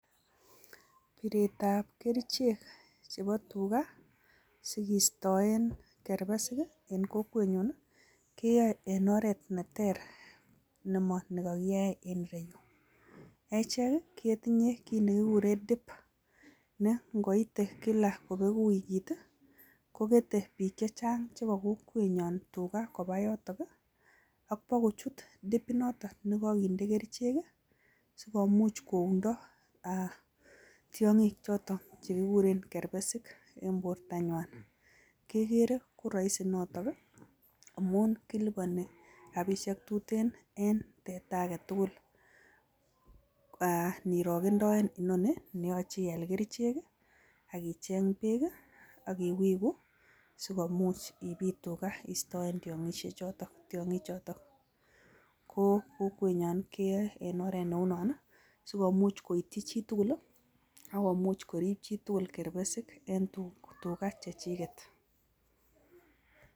Piretab kerichek chebo tuga si kistoen kerbesik en kokwenyun, keyoe en oret ne ter, ne mo ni kogiyoe en ireyu. Echek ketinye kit ne kiguren dip, ne ngoite kila kobegu wikit kogete biik che chang che bo kokwenyon tuga koba yotok ak bo kochut dip inoton ne koginde kerichek, si komuch koundo tiong'ik choto che kiguren kerbesik en bortanywan. Kigeere koroisi notok amun kiliboni rabishek che tuten en teta age tugul inirogendoen inoni ne yoche ial kerichek ak icheng' beek, ak iwigu, si komuch ibiit tuga istoen tiong'ikchoto. Ko kokwenyon keyoe en oret neu non so komuch koityi chitugul ak komuch korib chitugul kerbesik en tuga che chiget.